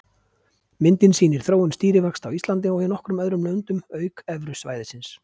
Myndin sýnir þróun stýrivaxta á Íslandi og í nokkrum öðrum löndum auk Evrusvæðisins.